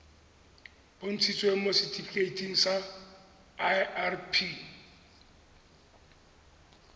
bontshitsweng mo setifikeiting sa irp